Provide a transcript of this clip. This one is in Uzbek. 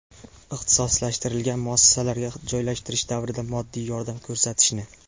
ixtisoslashtirilgan muassasalarga joylashtirish davrida moddiy yordam ko‘rsatishni;.